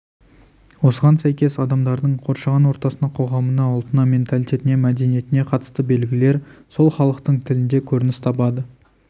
осыған сәйкес адамдардың қоршаған ортасына қоғамына ұлтына менталитетіне мәдениетіне қатысты белгілер сол халықтың тілінде көрініс табады